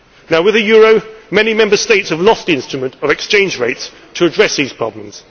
Europe. Now, with the euro, many Member States have lost the instrument of exchange rates to address these